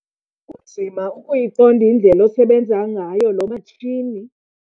Kunzima ukuyiqonda indlela osebenza ngayo lo matshini.